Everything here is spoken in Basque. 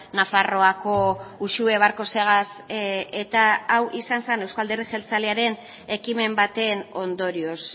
nafarroako uxue barkosegaz eta hau izan zen euzko alderdi jeltzalearen ekimen baten ondorioz